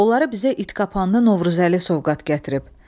Onları bizə itqapanlı Novruzəli sovqat gətirib.